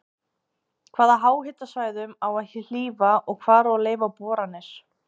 Hvaða háhitasvæðum á að hlífa og hvar á að leyfa boranir?